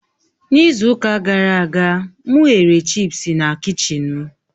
N'izu ụka gara aga, m ghere chịpsi na kichin m